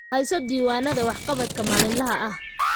Hayso diiwaannada waxqabadka maalinlaha ah.